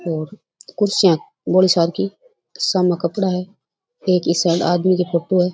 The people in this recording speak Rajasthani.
और कुर्सियां बौली सार की सामे कपडा है एक इ साइड आदमी की फोटो है।